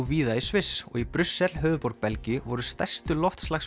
víða í Sviss og í Brussel höfuðborg Belgíu voru stærstu